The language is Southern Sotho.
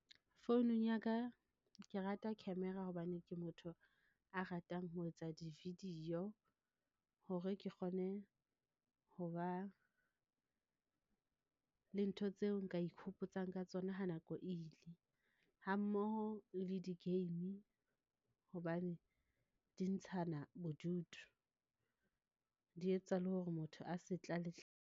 Founung ya ka ke rata camera hobane ke motho a ratang ho etsa di video hore ke kgone ho ba, le ntho tseo nka ikhopotsang ka tsona ha nako ile ha mmoho le di game hobane di ntshana bodutu, di etsa le hore motho a se tlale.